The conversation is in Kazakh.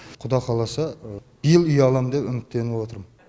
құда қаласа биыл үй алам деп үміттеніп отырмын